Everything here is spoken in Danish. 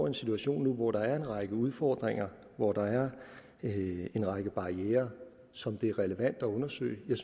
en situation hvor der en række udfordringer hvor der er en række barrierer som det er relevant at undersøge jeg